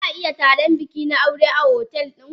Zaa iya taron bikina aure na otel din.